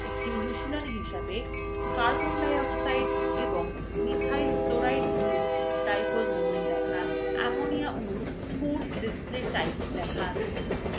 একটি অনুশীলনী হিসাবে